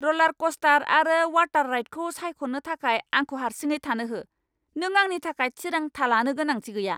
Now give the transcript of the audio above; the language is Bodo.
रलारक'स्टार आरो वाटार राइडखौ सायख'नो थाखाय आंखौ हारसिङै थानो हो, नों आंनि थाखाय थिरांथा लानो गोनांथि गैया!